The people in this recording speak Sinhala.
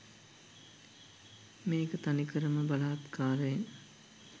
මේක තනිකරම බලහත්කාරයෙන්